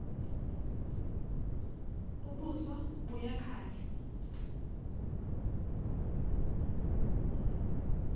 ubuso buya khanya